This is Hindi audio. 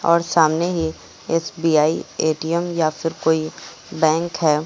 और सामने ही एस_बी_आई ए_टी_एम या फिर कोई बैंक है।